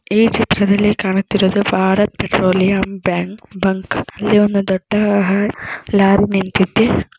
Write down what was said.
ಈ ಚಿತ್ರದಲ್ಲಿ ಕಾಣುತ್ತಿರುವುದು ಭಾರತ್ ಪೆಟ್ರೋಲಿಯಂ ಬ್ಯಾಂಕ್ ಬಂಕ್ ಇಲ್ಲಿ ಒಂದು ದೊಡ್ಡ ಲಾರಿ ನಿಂತಿದೆ.